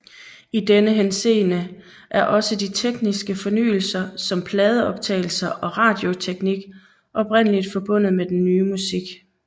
I denne henseende er også de tekniske fornyelser som pladeoptagelser og radioteknik oprindelig forbundet med den nye musik